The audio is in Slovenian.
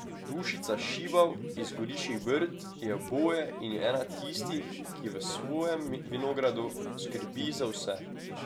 Dušica Šibav iz Goriških brd je oboje in je ena tistih, ki v svojem vinogradu skrbi za vse.